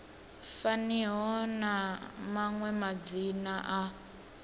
faniho na maṅwe madzina a